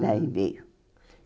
Daí veio.